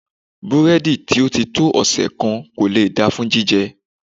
Búrẹ́dì tó ti tó ọ̀sẹ̀ kan kò lè da fún jíjẹ.